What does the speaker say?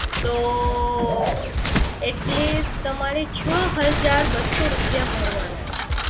તો at least તમારી છ હજાર બસો રૂપિયા ભરવાના છે